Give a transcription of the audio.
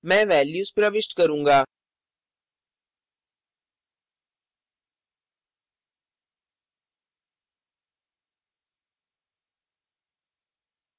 मैं values प्रविष्ट करूँगा